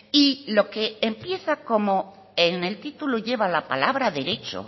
y lo que empieza como en el título lleva la palabra derecho